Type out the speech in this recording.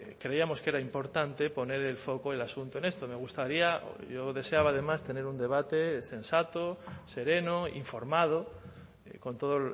creíamos que era importante poner el foco el asunto en esto me gustaría yo deseaba además tener un debate sensato sereno informado con todo